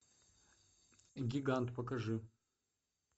гигант покажи